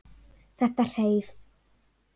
Þetta hreif.